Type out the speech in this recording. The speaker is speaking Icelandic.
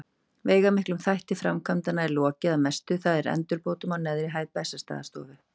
Veigamiklum þætti framkvæmdanna er lokið að mestu, það er endurbótum á neðri hæð Bessastaðastofu.